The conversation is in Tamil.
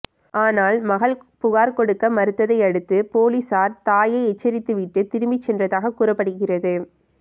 ஆனால் மகள் புகார் கொடுக்க மறுத்ததை அடுத்து போலீசார் தாயை எச்சரித்துவிட்டு திரும்பி சென்றதாக கூறப்படுகிறது